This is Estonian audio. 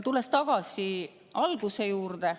Tulen tagasi alguse juurde.